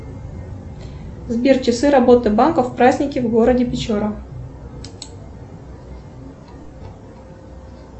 сбер часы работы банка в праздники в городе печора